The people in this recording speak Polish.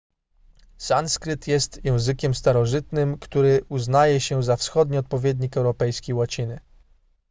sanskryt jest językiem starożytnym który uznaje się za wschodni odpowiednik europejskiej łaciny